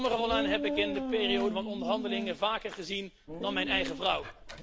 Sommigen van hen heb ik in de periode van onderhandelingen vaker gezien dan mijn eigen vrouw.